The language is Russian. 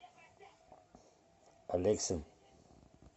алексин